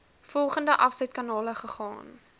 volgende afsetkanale gegaan